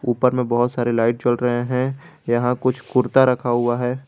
ऊपर में बहोत सारे लाइट जल रहे है यहां कुछ कुर्ता रखा हुआ है।